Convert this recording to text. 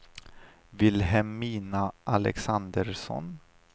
Vilhelmina Alexandersson